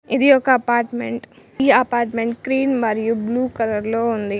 ఇది ఒక అపార్ట్మెంట్ ఈ అపార్ట్మెంట్ క్రీమ్ మరియు బ్లూ కలర్ లో ఉంది.